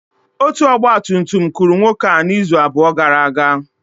Otu ọgba tum tum kụrụ nwoke a izu abụọ gara aga.